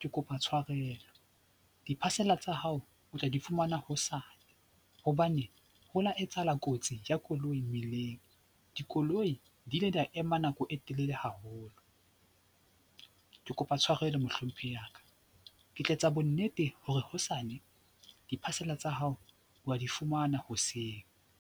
Ke kopa tshwarelo, di-parcel tsa hao o tla di fumana hosane hobane ho la etsahala kotsi ya koloi mmeleng. Dikoloi di ile di a ema nako e telele haholo, ke kopa tshwarelo Mohlomphehi ya ka. Ke tla etsa bonnete hore hosane di-parcel tsa hao wa di fumana hoseng.